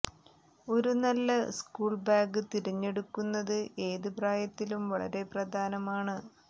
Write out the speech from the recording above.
ഒരു നല്ല school bag തിരഞ്ഞെടുക്കുന്നത് ഏത് പ്രായത്തിലും വളരെ പ്രധാനമാണ്